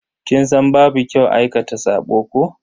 Kin san babu kyau aikata sabo ko?